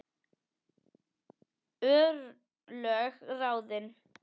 Örlög ráðin